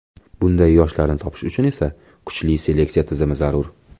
Bunday yoshlarni topish uchun esa kuchli seleksiya tizimi zarur.